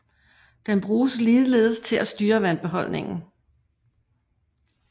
Den bruges ligeledes til at styre vandbeholdningen